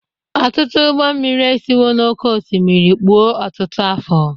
Ọtụtụ ụgbọ mmiri esiwo n'oké osimiri kpuo ọtụtụ afọ